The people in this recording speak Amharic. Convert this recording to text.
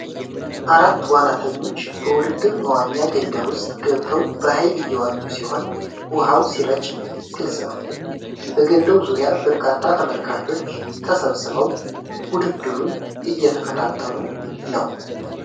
አራት ዋናተኞች በውድድር መዋኛ ገንዳ ውስጥ ገብተው በኃይል እየዋኙ ሲሆን፣ ውኃው ሲረጭ ግልፅ ነው። በገንዳው ዙሪያ በርካታ ተመልካቾች ተሰብስበው ውድድሩን እየተከታተሉ ነው።